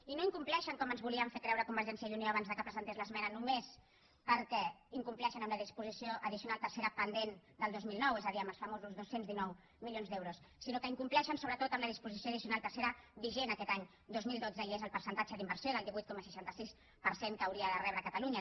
i no incompleixen com ens volien fer creure convergència i unió abans que presentés l’esmena només perquè incompleixen amb la disposició addicional tercera pendent del dos mil nou és a dir amb els famosos dos cents i dinou milions d’euros sinó que incompleixen sobretot amb la disposició addicional tercera vigent aquest any dos mil dotze i és el percentatge d’inversió del divuit coma seixanta sis per cent que hauria de rebre catalunya